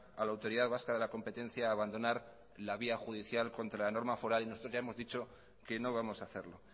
a la autoridad vasca de la competencia a abandonar la vía judicial contra la norma foral y nosotros ya hemos dicho que no vamos a hacerlo